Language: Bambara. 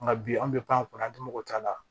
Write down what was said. Nka bi an bɛ pan kunna an tɛ mɔgɔ t'a la